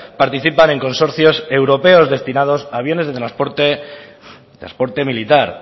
participan en consorcios europeos destinados a aviones de transporte militar